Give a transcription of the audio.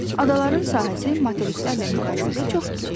Adaların sahəsi materiklərlə müqayisədə çox kiçikdir.